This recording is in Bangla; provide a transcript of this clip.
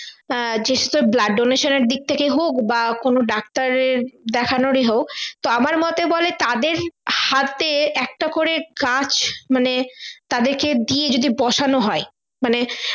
আহ যেসব blood donation এর দিক থেকে হোক বা কোনো ডাক্তারের দেখানোরই হোক তো আমার মতে বলে তাদের হাতে একটা করে গাছ মানে তাদেরকে দিয়ে যদি বসানো হয় মানে